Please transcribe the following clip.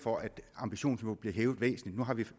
for at ambitionsniveauet blev hævet væsentligt nu har vi to